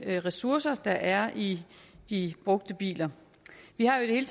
de ressourcer der er i de brugte biler vi har jo i